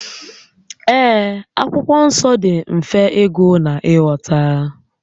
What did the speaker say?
Ee, Akwụkwọ Nsọ dị mfe ịgụ na ị ghọta